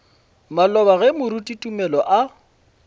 maloba ge moruti tumelo a